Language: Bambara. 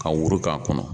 Ka woro k'a kɔnɔ